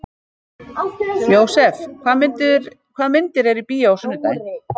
Jósef, hvaða myndir eru í bíó á sunnudaginn?